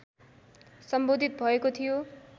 सम्बोधित भएको थियो